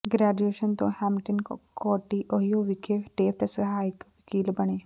graduation ਤੋਂ Hamilton County Ohio ਵਿਖੇ Taft ਸਹਾਇਕ ਵਕੀਲ ਬਣੇ